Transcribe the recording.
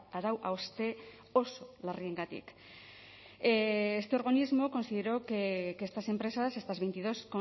arau hauste oso larriengatik este organismo consideró que estas empresas estas veintidós